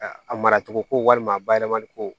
A mara cogo ko walima a bayɛlɛmali ko